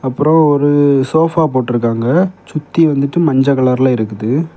அப்புரொ ஒரு சோஃபா போட்ருருக்காங்க சுத்தி வந்துடு மஞ்ச கலர்ல இருக்குது.